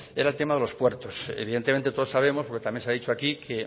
era el tema de los puertos evidentemente todos sabemos porque también se ha dicho aquí que